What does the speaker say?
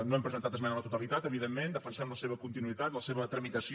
no hem presentat esmena a la totalitat evidentment defensem la seva continuïtat la seva tramitació